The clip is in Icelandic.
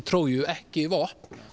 Tróju ekki vopn